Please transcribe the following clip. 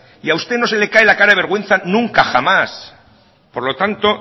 y a usted no se le cae la cara de vergüenza nunca jamás por lo tanto